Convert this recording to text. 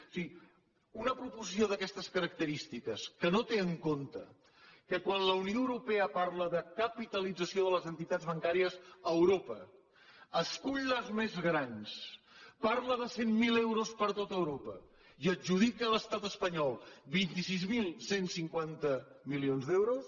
o sigui una proposició d’aquestes característiques que no té en compte que quan la unió europea parla de capitalització de les entitats bancàries a europa escull les més grans parla de cent miler milions d’euros per a tot europa i adjudica a l’estat espanyol vint sis mil cent i cinquanta milions d’euros